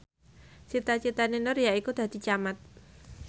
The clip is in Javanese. cita citane Nur yaiku dadi camat